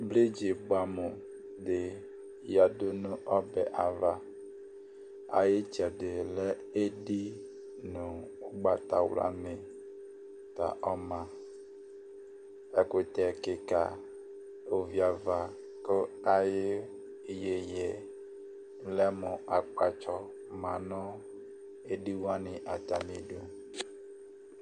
bridzi bʋɛamʋ dɩ yǝdu nʋ ɔbɛ dɩ ava Ayʋ ɩtsɛdɩ lɛ edi nʋ ʋgbatawlanɩ ta ɔma Ɛkʋtɛ kɩka, ovi ava kʋ ayʋ iyeye yɛ lɛ mʋ akpatsɔ ma nʋ edi wanɩ atamɩdu